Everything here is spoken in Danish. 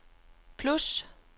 plus